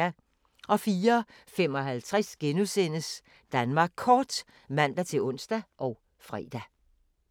04:55: Danmark Kort *(man-ons og fre)